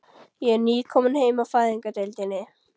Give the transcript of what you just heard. Ég er nýkomin heim af Fæðingardeildinni.